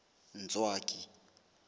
ntswaki